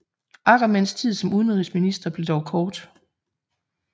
Ackermanns tid som udenrigsminister blev dog kort